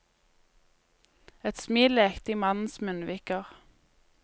Et smil lekte i mannens munnviker.